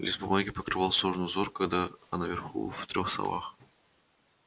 лист бумаги покрывал сложный узор кода а наверху в трёх словах б